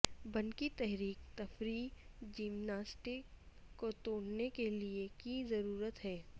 بنقی تحریک تفریحی جمناسٹکس کو توڑنے کے لئے کی ضرورت ہے